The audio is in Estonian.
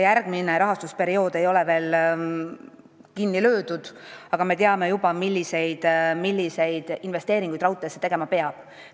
Järgmine rahastusperiood ei ole veel kinni löödud, aga me teame juba, milliseid investeeringuid raudteesse tegema peab.